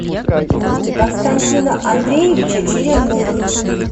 константина андреевича черемных